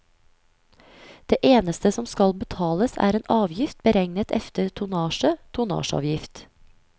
Det eneste som skal betales er en avgift beregnet efter tonnasje, tonnasjeavgift.